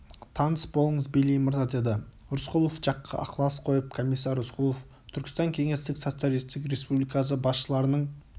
таныс болыңыз бейли мырза деді рысқұлов жаққа ықылас қойып комиссар рысқұлов түркістан кеңестік социалистік республикасы басшыларының